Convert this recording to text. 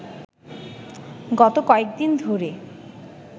গত কয়েক দিন ধরে